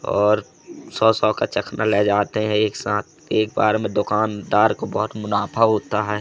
और सौ सौ का चखना ले जाते हैं एक साथ एक बार में दुकानदार को बहुत मुनाफा होता है।